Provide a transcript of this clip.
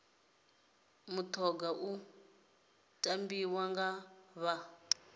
mutoga u tambiwa nga vha